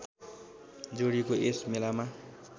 जोडिएको यस मेलामा